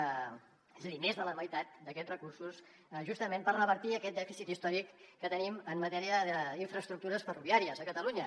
és a dir més de la meitat d’aquests recursos justament per revertir aquest dèficit històric que tenim en matèria d’infraestructures ferroviàries a catalunya